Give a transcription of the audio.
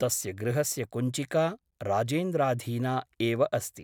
तस्य गृहस्य कुञ्चिका राजेन्द्राधीना एव अस्ति ।